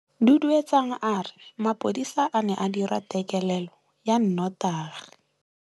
Duduetsang a re mapodisa a ne a dira têkêlêlô ya nnotagi.